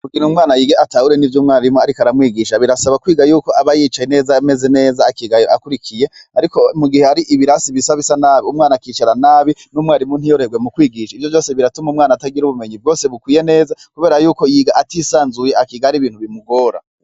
Kugira umwana yige atahure n'ivyo umwarimu ariko aramwigisha, birasaba kwiga yuko aba yicaye ameze neza, akiga akurikiye, ariko mu gihe hari ibarasi bisa bisa nabi umwana akicara nabi, n'umwarimu ntiyoroherwe mu kwigisha, ivyo vyose biratuma umwana atagira ubumenyi bwose bukwiye neza, kubera yuko yiga atisanzuye, akiga hari ibintu bimugora.